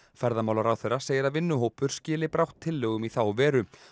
ferðamálaráðherra segir að vinnuhópur skili brátt tillögum í þá veru